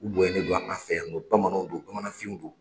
U boyalen don an fɛ yan .Bamananw don bamananfinw don.